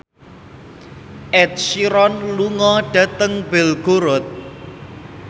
Ed Sheeran lunga dhateng Belgorod